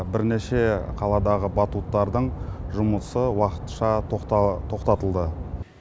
бірнеше қаладағы батуттардың жұмысы уақытша тоқтатылды